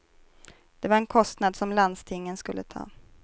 Det var en kostnad som landstingen skulle ta.